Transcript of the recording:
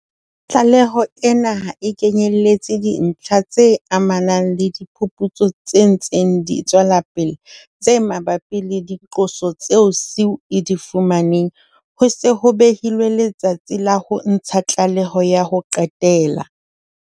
Tlaleho ena ha e kenyeletse dintlha tse amanang le diphuputso tse ntseng di tswela pele tse mabapi le diqoso tseo SIU e di fumaneng ho se ho behilwe letsatsi la ho ntsha tlaleho ya ho qetela.